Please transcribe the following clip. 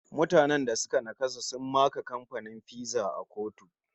Mutane da suka naƙasa sun maka kamfanin maganin Pfizer a kotu